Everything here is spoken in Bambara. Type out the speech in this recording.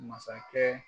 Masakɛ